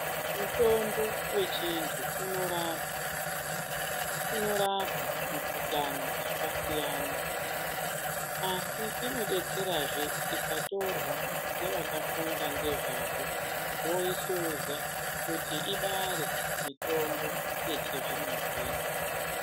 Mutombo wechintu unorapa. Unorapa mikhuhlani dzakasiyana, asi inodetserazve ikatorwa ngevakafunda ngezvazvo, voisumudza kuti ibare mitombo yechizvino-zvino.